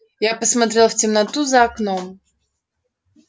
я посмотрел в темноту за окном